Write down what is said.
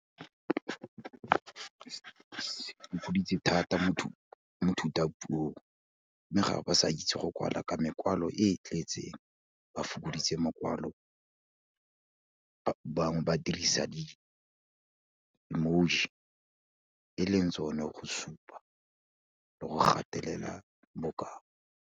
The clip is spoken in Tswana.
Ke okeditse thata mo thutapuong mme ga ba sa itse go kwala ka mekwalo e e tletseng, ba fokoditse mokwalo, bangwe ba dirisa di-emoji, e leng tsone go supa le go gatelela bokao.